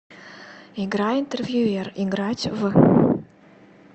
игра интервьюер играть в